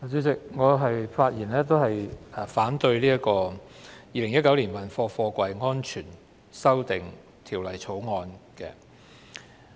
主席，我發言反對《2019年運貨貨櫃條例草案》。